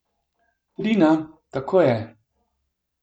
Trina, tako je.